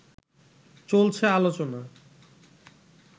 চলছে আলোচনা